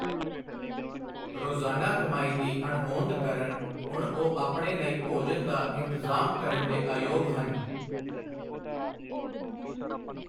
ਰੋਜ਼ਾਨਾ ਕਮਾਈ ਦੀ ਅਣਹੋਂਦ ਕਾਰਨ ਹੁਣ ਉਹ ਆਪਣੇ ਲਈ ਭੋਜਨ ਦਾ ਇੰਤਜ਼ਾਮ ਕਰਨ ਦੇ ਅਯੋਗ ਹਨ।